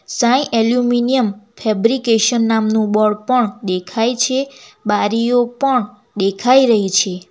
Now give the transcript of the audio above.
Sai aluminium fabrication નામનું board પણ દેખાય છે બારીઓ પણ દેખાઈ રહી છે.